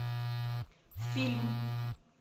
фильм